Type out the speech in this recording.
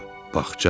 Bağça?